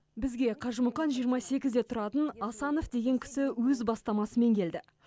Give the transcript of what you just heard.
бізге қажымұқан жиырма сегізде тұратын асанов деген кісі өз бастамасымен келді